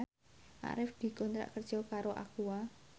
Arif dikontrak kerja karo Aqua